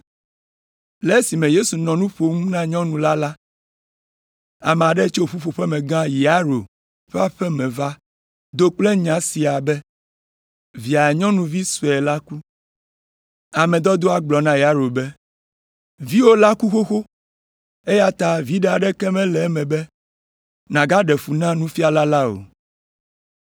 Le esime Yesu nɔ nu ƒom na nyɔnu la la, ame aɖe tso ƒuƒoƒemegã Yairo ƒe aƒe me va do kple nya sia be via nyɔnuvi sue la ku. Ame dɔdɔa gblɔ na Yairo be, “Viwò la ku xoxo eya ta viɖe aɖeke mele eme be nàgaɖe fu na Nufiala la o.”